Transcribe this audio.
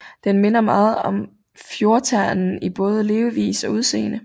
Den minder meget om fjordternen i både levevis og udseende